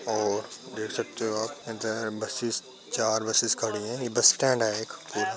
और देख सकते हो आप कहते हैं बसेस चार बुसेस खड़ी है। यह बस स्टैन्ड है एक।